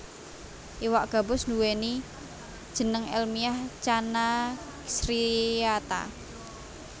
Iwak gabus nduwèni jeneng èlmiah Channa striata